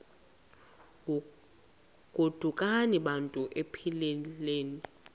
godukani bantu iphelil